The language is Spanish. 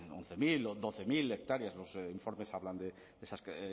once mil o doce mil hectáreas los informes hablan